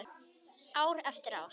Ár eftir ár.